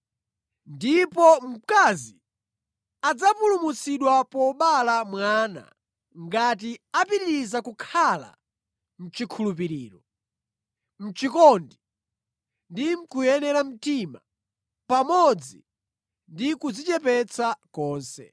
Ndipo mkazi adzapulumutsidwa pobereka mwana ngati apitiriza kukhala mʼchikhulupiriro, mʼchikondi ndi mʼkuyera mtima pamodzi ndi kudzichepetsa konse.